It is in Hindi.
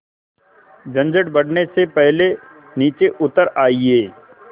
झंझट बढ़ने से पहले नीचे उतर आइए